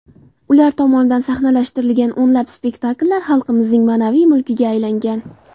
Ular tomonidan sahnalashtirilgan o‘nlab spektakllar xalqimizning ma’naviy mulkiga aylangan.